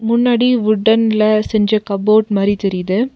முன்னாடி வுட்டன்ல செஞ்ச கபோர்ட் மாரி தெரியிது.